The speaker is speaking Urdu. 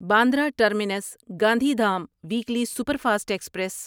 Bandra terminus Gandhi Dham weekly super fast express